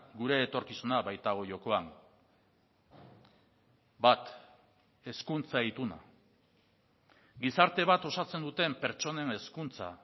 gure etorkizuna baitago jokoan bat hezkuntza ituna gizarte bat osatzen duten pertsonen hezkuntza